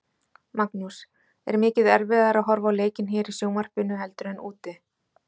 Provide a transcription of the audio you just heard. Magnús: Er mikið erfiðara að horfa á leikinn hér í sjónvarpinu heldur en úti?